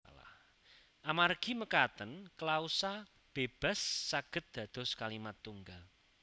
Amargi mekaten klausa bébas saged dados kalimat tunggal